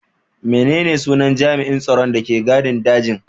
Menene sunan jami'an tsaron da ke gadin dajin?